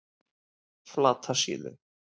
Flatasíðu